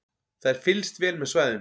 Það er fylgst vel með svæðinu